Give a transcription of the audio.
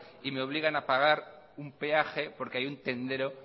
y me obligan a pagar un peaje porque hay un tendero